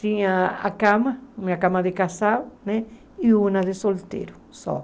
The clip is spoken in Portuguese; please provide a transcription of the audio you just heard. Tinha a cama, minha cama de casal né, e uma de solteiro só.